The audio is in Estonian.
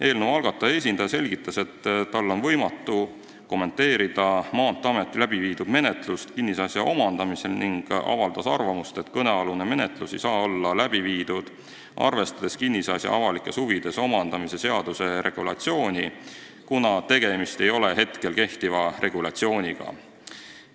Eelnõu algataja esindaja selgitas, et tal on võimatu kommenteerida Maanteeameti läbiviidud menetlust kinnisasja omandamisel, ning avaldas arvamust, et kõnealune menetlus ei saa olla läbi viidud, arvestades kinnisasja avalikes huvides omandamise seaduse regulatsiooni, kuna tegemist ei ole praegu kehtiva regulatsiooniga.